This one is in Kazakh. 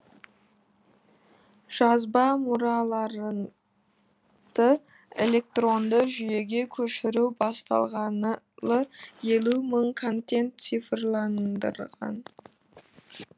жазба мұраларын ды электронды жүйеге көшіру басталғалы елу мың контент цифрландырған